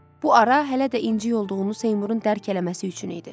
Bu ara hələ də incik olduğunu Seymurun dərk eləməsi üçün idi.